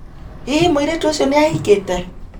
Hihi mũirĩtu ũcio nĩ ahikĩte?